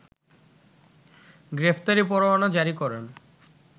গ্রেফতারি পরোয়ানা জারি করেন